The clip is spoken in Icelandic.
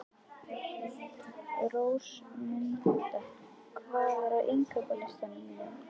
Rósmunda, hvað er á innkaupalistanum mínum?